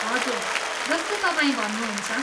हजुर, जस्तो तपाईँ भन्नुहुन्छ।